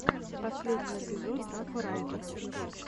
последний эпизод рафа райдера